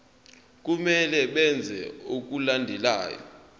kumele benze okulandelayo